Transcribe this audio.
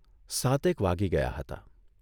સાતેક વાગી ગયા હતા.